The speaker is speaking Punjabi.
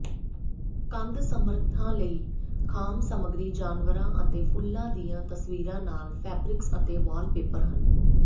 ਕੰਧ ਸਮੱਰਥਾ ਲਈ ਖਾਸ ਸਮੱਗਰੀ ਜਾਨਵਰਾਂ ਅਤੇ ਫੁੱਲਾਂ ਦੀਆਂ ਤਸਵੀਰਾਂ ਨਾਲ ਫੈਬਰਿਕਸ ਅਤੇ ਵਾਲਪੇਪਰ ਹਨ